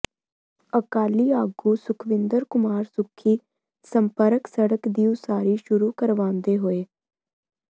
ਅਕਾਲੀ ਆਗੂ ਸੁੱਖਵਿੰਦਰ ਕੁਮਾਰ ਸੁੱਖੀ ਸੰਪਰਕ ਸੜਕ ਦੀ ਉਸਾਰੀ ਸ਼ੁਰੂ ਕਰਵਾਉਂਦੇ ਹੋਏ